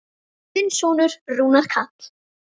Þinn sonur, Rúnar Karl.